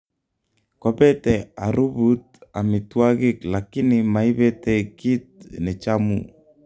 kopete arubut amitwagig lakini maibete git nechamu